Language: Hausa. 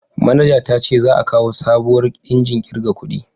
Manaja ta ce za a kawo sabuwar injin kirga kudi